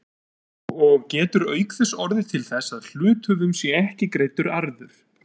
og getur auk þess orðið til þess að hluthöfum sé ekki greiddur arður.